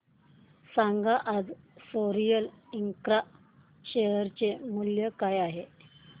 सांगा आज Sorril Infra share चे मूल्य काय आहे